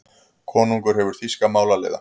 Konungur hefur þýska málaliða.